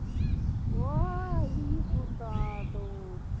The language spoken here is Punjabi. ਉਹ ਅਹ ਆਈ ਹੀ ਤੂਤਾ ਤੋਂ